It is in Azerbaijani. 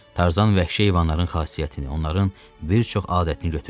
Tarzan vəhşi heyvanların xasiyyətini, onların bir çox adətini götürmüşdü.